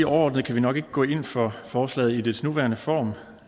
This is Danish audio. overordnet kan vi nok ikke gå ind for forslaget i dets nuværende form